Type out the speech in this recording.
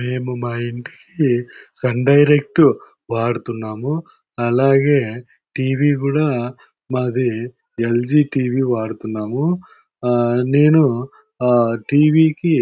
మేము మా ఇంటికి సన్ డైరెక్ట్ వాడుతున్నాము. అలాగే టి_వి కూడా మాది ఎల్_జీ టి_వి వాడుతున్నాము. ఆ నేను టి_వి కి--